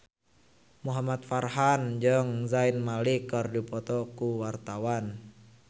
Muhamad Farhan jeung Zayn Malik keur dipoto ku wartawan